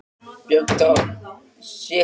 Björg dró djúpt andann og var hraðmælt